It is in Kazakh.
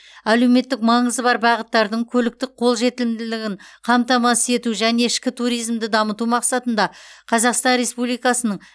әлеуметтік маңызы бар бағыттардың көліктік қолжетімділігін қамтамасыз ету және ішкі туризмді дамыту мақсатында қазақстан республикасының